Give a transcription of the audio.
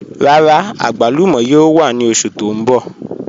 Rárá, agbàlùmọ̀ yóò wà ni oṣù tó n bọ̀.